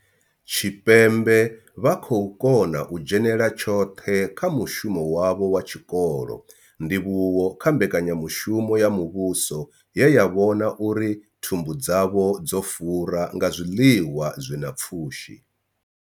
Tshipembe vha khou kona u dzhenela tshoṱhe kha mushumo wavho wa tshikolo, ndivhuwo kha mbekanyamushumo ya muvhuso ye ya vhona uri thumbu dzavho dzo fura nga zwiḽiwa zwi na pfushi.